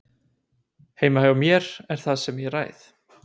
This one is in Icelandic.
Heima hjá mér er það ég sem ræð.